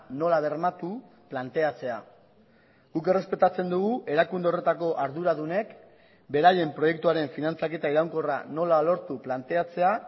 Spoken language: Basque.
nola bermatu planteatzea guk errespetatzen dugu erakunde horretako arduradunek beraien proiektuaren finantzaketa iraunkorra nola lortu planteatzea